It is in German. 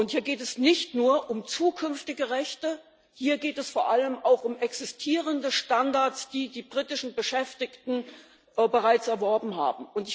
Hier geht es nicht nur um zukünftige Rechte, hier geht es vor allem auch um existierende Standards, die die britischen Beschäftigten bereits erworben haben.